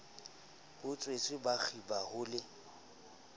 batswetse ba kgiba ho le